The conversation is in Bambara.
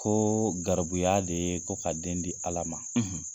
Ko garibuya de ye ko ka den di ala ma.